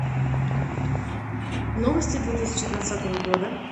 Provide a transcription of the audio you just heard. новости две тысячи двадцатого года